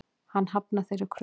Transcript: Hann hafnar þeirri kröfu.